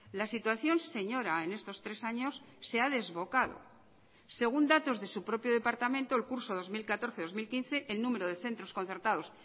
la situación señora en estos tres años se ha desbocado según datos de su propio departamento el curso dos mil catorce dos mil quince el número de centros concertados